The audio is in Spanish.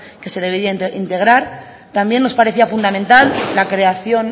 que se debería integrar también nos parecía fundamental la creación